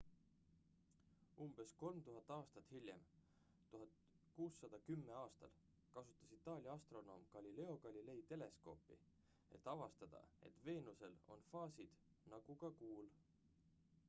umbes 3000 aastat hiljem 1610 aastal kasutas itaalia astronoom galileo galilei teleskoopi et avastada et veenusel on faasid nagu ka kuul